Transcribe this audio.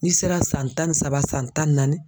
N'i sera san tan ni saba san tan ni naani.